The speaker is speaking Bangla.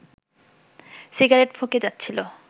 সিগারেট ফুঁকে যাচ্ছিল